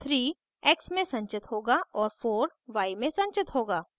3 x में संचित होगा और 4 y में संचित होगा